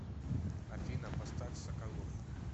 афина поставь соколов